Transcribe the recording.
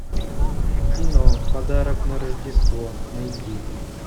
кино подарок на рождество найди